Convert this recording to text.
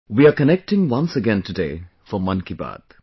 We are connecting once again today for Mann Ki Baat